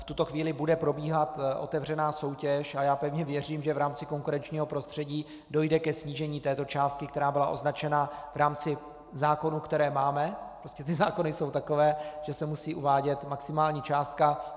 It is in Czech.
V tuto chvíli bude probíhat otevřená soutěž a já pevně věřím, že v rámci konkurenčního prostředí dojde ke snížení této částky, která byla označena v rámci zákonů, které máme, prostě ty zákony jsou takové, že se musí uvádět maximální částka.